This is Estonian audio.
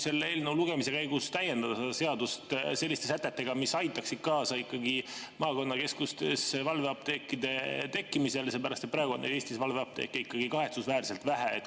Selle eelnõu lugemise käigus võiks täiendada seadust selliste sätetega, mis aitaksid ikkagi kaasa maakonnakeskustes valveapteekide tekkimisele, sest praegu on Eestis valveapteeke kahetsusväärselt vähe.